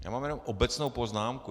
Já mám jen obecnou poznámku.